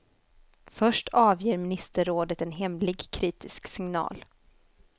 Först avger ministerrådet en hemlig kritisk signal.